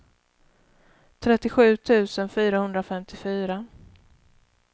trettiosju tusen fyrahundrafemtiofyra